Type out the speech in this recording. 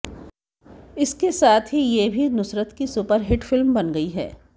इसके साथ ही ये भी नुसरत की सुपरहिट फिल्म बन गई है